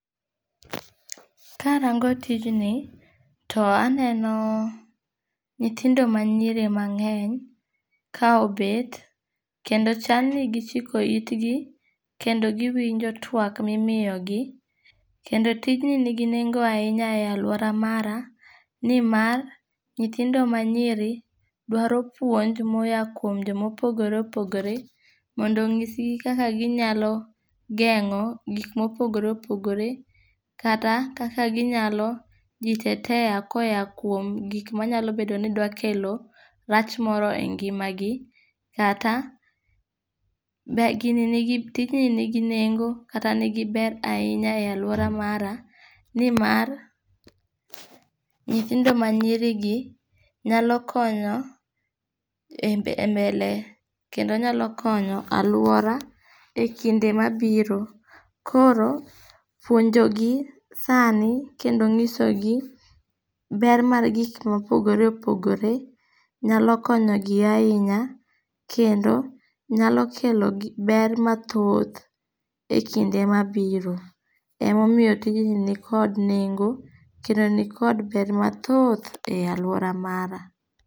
Karango tijni, to aneno nyithindo ma nyiri mangény ka obet, kendo chalni gichiko itgi, kendo giwinjo twak mimiyogi. Kendo tijni nigi nengo ahinya e alwora mara, ni mar, nyithindo manyiri, dwaro puonj, moya kuom jomopogore opogore, mondo onyisgi kaka ginyalo gengó gik mopogore opogore. Kata kaka ginyalo jitetea koya kuom, gik manyalo bedo ni dwa kelo rach moro e ngimagi. Kata, be, gini nigi, tijni nigi nengo, kata nigi ber ahinya e alwora mara, ni mar, nyithindo manyirigi, nyalo konyo e e mbele, kendo nyalo konyo alwora e kinde mabiro. Koro, puonjo gi sani, kendo nyisogi ber mar gik mopogore opogore, nyalo konyo gi ahinya, kendo nyalo kelo ber mathoth, e kinde mabiro. Emomiyo tijni nikod nengo, kendo nikod ber mathoth, e alwora mara.